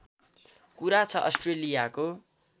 कुरा छ अस्ट्रेलियाको